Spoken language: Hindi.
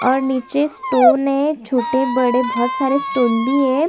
और नीचे स्टोन है छोटे-बड़े बोहत सारे स्टोन भी है।